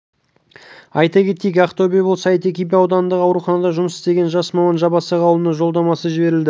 айта кетейік ақтөбе облысы әйтеке би ауданындағы ауруханада жұмыс істеген жас маман жабасақ ауылына жолдамамен жіберілді